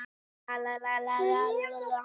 Snemma beygist krókurinn